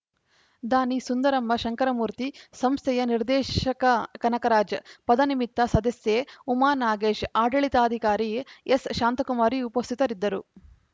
ದಾನಿ ಸುಂದರಮ್ಮ ಶಂಕರಮೂರ್ತಿ ಸಂಸ್ಥೆಯ ನಿರ್ದೇಶಕ ಕನಕರಾಜ್‌ ಪದನಿಮಿತ್ತ ಸದಸ್ಯೆ ಉಮಾ ನಾಗೇಶ್‌ ಆಡಳಿತಾಧಿಕಾರಿ ಎಸ್‌ಶಾಂತಕುಮಾರಿ ಉಪಸ್ಥಿತರಿದ್ದರು